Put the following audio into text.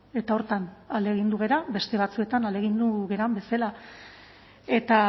eta horretan ahalegindu gara beste batzuetan ahalegindu garen bezala eta